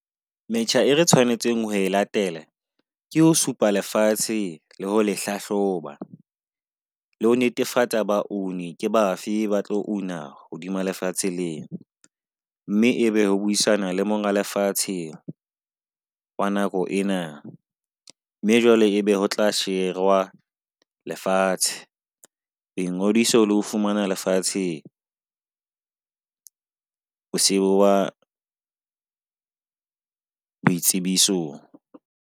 Metjha e re tshwanetseng ho e latele ke ho supa lefatshe le ho hlahloba le ho netefatsa ba oni ke bafe ba tlo una hodima lefatshe lena. Mme ebe o buisana le monga lefatsheng wa nako ena mme jwale ebe ho tla sherwa lefatshe. Bo ngodiso le ho fumana lefatshe, ho sewa boitsebisong.